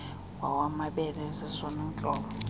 nowamabele zezona ntlobo